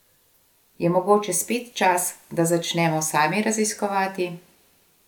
Je mogoče spet čas, da začnemo sami raziskovati?